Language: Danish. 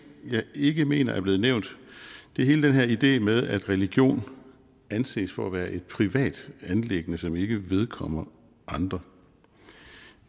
jeg ikke mener er blevet nævnt det er hele den her idé med at religion anses for at være et privat anliggende som ikke vedkommer andre